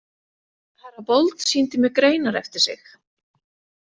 Herra Bold sýndi mér greinar eftir sig.